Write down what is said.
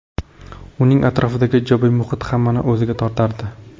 Uning atrofidagi ijobiy muhit hammani o‘ziga tortardi.